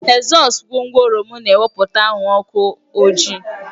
Ezọsu gwongworo m na-ewepụta anwụrụ ọkụ ojii